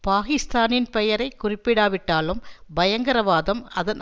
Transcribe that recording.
பாகிஸ்தானின் பெயரை குறிப்பிடாவிட்டாலும் பயங்கரவாதம் அதன்